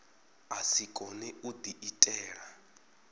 a si kone u diitela